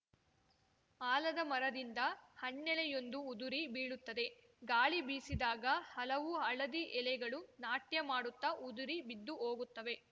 ಆಲದ ಮರದಿಂದ ಹಣ್ಣೆಲೆಯೊಂದು ಉದುರಿ ಬೀಳುತ್ತದೆ ಗಾಳಿ ಬೀಸಿದಾಗ ಹಲವು ಹಳದಿ ಎಲೆಗಳು ನಾಟ್ಯ ಮಾಡುತ್ತಾ ಉದುರಿ ಬಿದ್ದುಹೋಗುತ್ತವೆ